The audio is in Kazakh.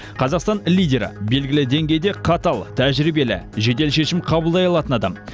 қазақстан лидері белгілі деңгейде қатал тәжірибелі жедел шешім қабылдай алатын адам